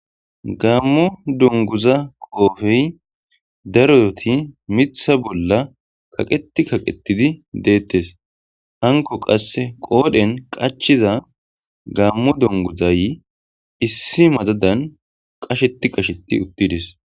Gamo dungguza qoffey daaroti miththa bolla kaqqeti kaqetidi dettes hankoy qase gammo dunguzay issi madadan qasheti qasheti utides.